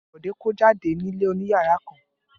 Bẹ́ẹ̀ ni, Bọ̀dé kó jáde ní ilé oníyàrá kan.